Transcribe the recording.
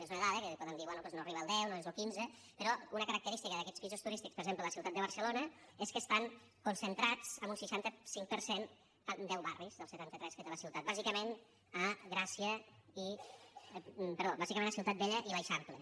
és una dada que podem dir bé doncs no arriba al deu no és lo quinze però una característica d’aquests pisos turístics per exemple a la ciutat de barcelona és que estan concentrats en un seixanta cinc per cent en deu barris dels setanta tres que té la ciutat bàsicament a ciutat vella i l’eixample